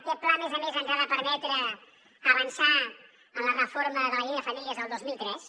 aquest pla a més a més ens ha de permetre avançar en la reforma de la llei de famílies del dos mil tres